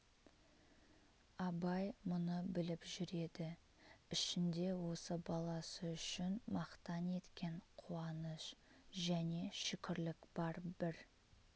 абай мұны біліп жүр еді ішінде осы баласы үшін мақтан еткен қуаныш және шүкірлік бар бір